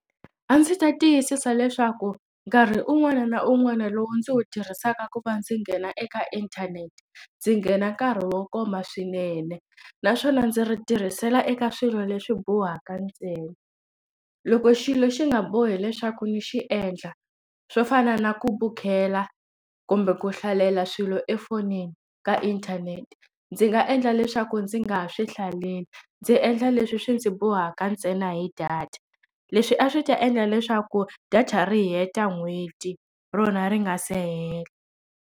A ndzi ta tiyisisa leswaku nkarhi un'wana na un'wana lowu ndzi wu tirhisaka ku va ndzi nghena eka inthanete ndzi nghena nkarhi wo koma swinene naswona ndzi ri tirhisela eka swilo leswi bohaka ntsena loko xilo xi nga bohi leswaku ni xi endla swo fana na ku bukela kumbe ku hlalela swilo efonini ka inthanete ndzi nga endla leswaku ndzi nga ha swi hlaleli ndzi endla leswi swi ndzi bohaka ntsena hi data leswi a swi ta endla leswaku data ri heta n'hweti rona ri nga se hela.